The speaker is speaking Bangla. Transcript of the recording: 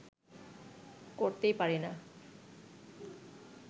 করতেই পারি না